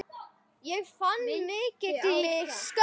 Ég fann fyrir mikilli skömm.